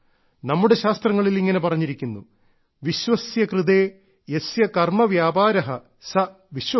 നമ്മുടെ ശാസ്ത്രങ്ങളിൽ ഇങ്ങനെ പറഞ്ഞിരിക്കുന്നു വിശ്വസ്യ കൃതേ യസ്യ കർമ്മ വ്യാപാരഃ സഃ വിശ്വകർമ്മ